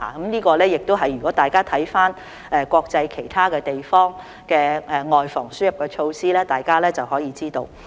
在這方面，大家參看國際上其他地方的外防輸入措施便可以知道。